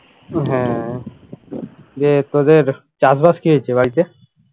হ্যাঁ দিয়ে তোদের চাষবাস কি হচ্ছে বাড়িতে